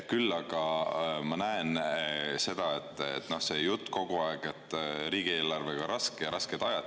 Küll aga ma kogu aeg juttu, et riigieelarvega on raske ja on rasked ajad.